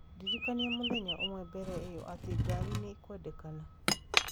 Ndĩrikania mũthenya ũmwe mbere ĩyo atĩ ngari nĩ gĩkwendekana